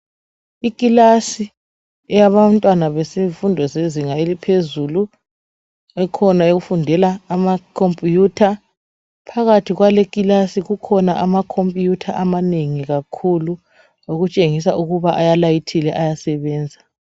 Ikilasi yabantwana bemfundo yezinga eliphezulu ikhona efundela ama computer phakathi kwale kilasi kukhona ama computer amanengi kakhulu okutshengisa ukuba alayithile ayasebenza.